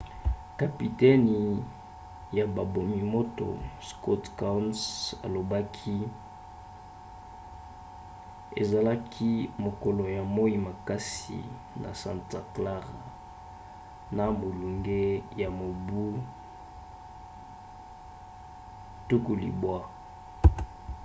kapitene ya babomi-moto scott kouns alobaki: ezalaki mokolo ya moi makasi na santa clara na molunge ya mibu 90